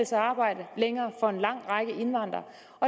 sig at arbejde for en lang række indvandrere